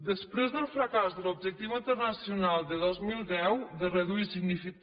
després del fracàs de l’objectiu internacional de dos mil deu de reduir signifi